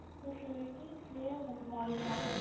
ତ ସେଇଠି ସିଏ ମରିଯାଆନ୍ତି